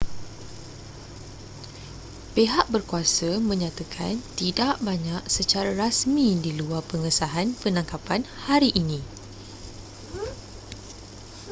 pihat berkuasa menyatakan tidak banyak secara rasmi di luar pengesahan penangkapan hari ini